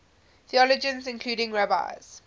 theologians including rabbis